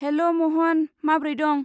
हेल' महन, माब्रै दं?